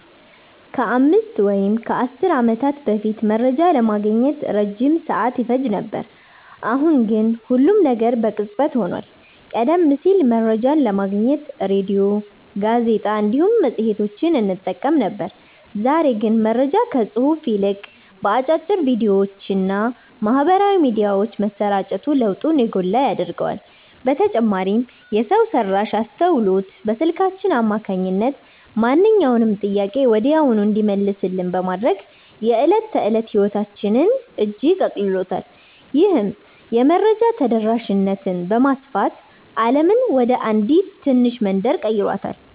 ከአምስት ወይም ከአሥር ዓመታት በፊት መረጃ ለማግኘት ረጅም ሰዓት ይፈጅ ነበር፤ አሁን ግን ሁሉም ነገር በቅጽበት ሆኗል። ቀደም ሲል መረጃን ለማግኘት ሬድዮ፣ ጋዜጣ እንዲሁም መጽሔቶችን እንጠቀም ነበር፤ ዛሬ ግን መረጃ ከጽሑፍ ይልቅ በአጫጭር ቪዲዮዎችና በማኅበራዊ ሚዲያዎች መሰራጨቱ ለውጡን የጎላ ያደርገዋል። በተጨማሪም የሰው ሠራሽ አስተውሎት በስልካችን አማካኝነት ማንኛውንም ጥያቄ ወዲያውኑ እንዲመለስልን በማድረግ የዕለት ተዕለት ሕይወታችንን እጅግ አቅልሎታል። ይህም የመረጃ ተደራሽነትን በማስፋት ዓለምን ወደ አንዲት ትንሽ መንደር ቀይሯታል።"